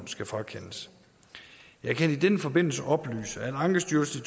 skal frakendes jeg kan i den forbindelse oplyse at ankestyrelsen